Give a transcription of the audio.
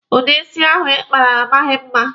Udi isi ahụ Ị kpara a maghị mma.